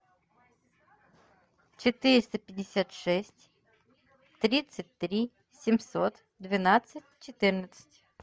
четыреста пятьдесят шесть тридцать три семьсот двенадцать четырнадцать